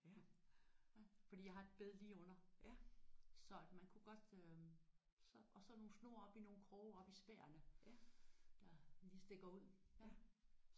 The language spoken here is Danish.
Fordi jeg har et bed lige under. Så at man kunne godt øh og så nogle snore i nogle kroge oppe i spærene der lige stikker ud